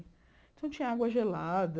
Então, tinha água gelada.